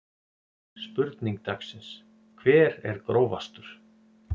Spurning dagsins: Hver er grófastur?